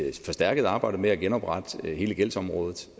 forstærket arbejde med at genoprette hele gældsområdet